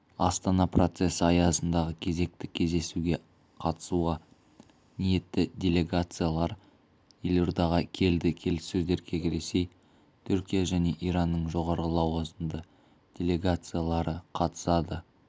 астана процесі аясындағы кезекті кездесуге қатысуға ниетті делегациялар елордаға келді келіссөздерге ресей түркия және иранның жоғары лауазымды делегациялары қатысады